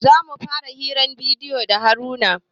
Za mu fara hirar bidiyo da haruna